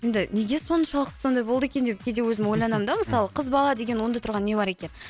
енді неге соншалықты сондай болды екен деп кейде өзім ойланамын да мысалы қыз бала деген онда тұрған не бар екен